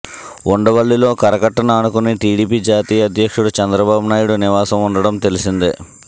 ఉండవల్లిలో కరకట్టను ఆనుకుని టీడీపీ జాతీయ అధ్యక్షుడు చంద్రబాబు నాయుడు నివాసం ఉండటం తెలిసిందే